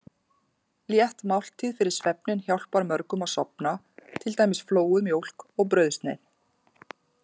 Létt máltíð fyrir svefninn hjálpar mörgum að sofna, til dæmis flóuð mjólk og brauðsneið.